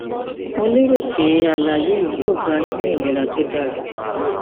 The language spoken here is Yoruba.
mo lérò pé àlàyé yìí yóò bá a yín ní ìlera tó dára